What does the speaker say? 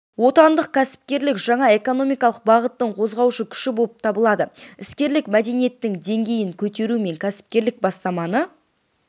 отандық кәсіпкерлік жаңа экономикалық бағыттың қозғаушы күші болып табылады іскерлік мәдениетінің деңгейін көтеру мен кәсіпкерлік бастаманы